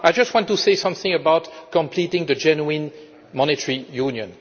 I just want to say something about completing the Genuine Monetary Union.